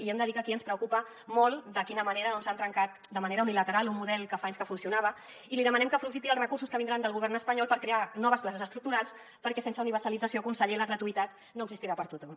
i hem de dir que aquí ens preocupa molt de quina manera doncs s’ha trencat de manera unilateral un model que fa anys que funcionava i li demanem que aprofiti els recursos que vindran del govern espanyol per crear noves places estructurals perquè sense universalització conseller la gratuïtat no existirà per a tothom